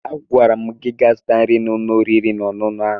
Agwara m gị gaa zụta nri n'ụlọ oriri na ọṅụṅụ ahụ!